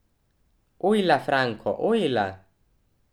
Ojla, Franko, ojla.